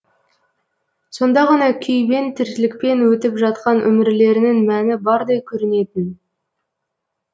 сонда ғана күйбең тірлікпен өтіп жатқан өмірлерінің мәні бардай көрінетін